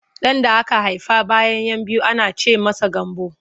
Ɗan da aka haifa bayan 'yan biyu ana ce masa Gambo.